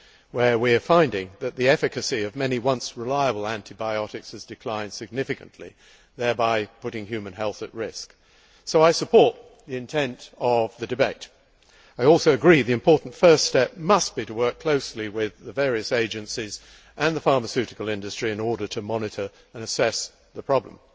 where we are finding that the efficacy of many once reliable antibiotics has declined significantly, thereby putting human health at risk. So I support the intent of the debate. I also agree that the important first step must be to work closely with the various agencies and the pharmaceutical industry in order to monitor and assess the problem.